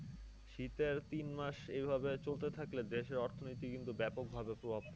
শীতের তিন মাস এইভাবে চলতে থাকলে দেশের অর্থনীতি কিন্তু ব্যাপকভাবে প্রভাব পড়বে।